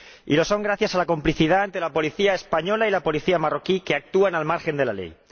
Y lo son gracias a la complicidad de la policía española y la policía marroquí, que actúan al margen de la ley.